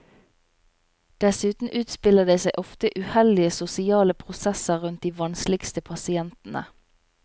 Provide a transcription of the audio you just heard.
Dessuten utspiller det seg ofte uheldige sosiale prosesser rundt de vanskeligste pasientene.